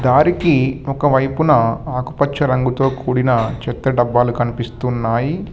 వారికి ఒక వైపున ఆకుపచ్చ రంగుతో కూడిన చెత్త డబ్బాలు కనిపిస్తున్నాయి.